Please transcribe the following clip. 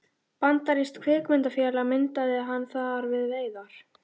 Bandarískt kvikmyndafélag myndaði hann þar við veiðar.